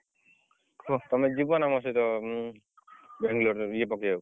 କୁଅ ତମେ ଯିବ ନା ନା ସହିତ ବାଙ୍ଗଲୋରରେ ଇଏ ପକେଇଆକୁ?